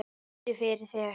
Biddu fyrir þér!